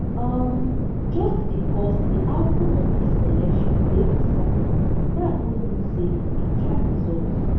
um just becos di outcome of dis election dey uncertain dat no mean say di actual result